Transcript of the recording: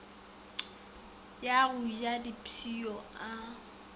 wa go ja dipshio a